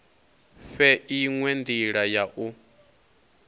fhe inwe ndila ya u